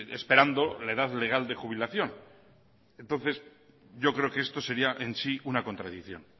esperando la edad legal de jubilación entonces yo creo que esto sería en sí una contradicción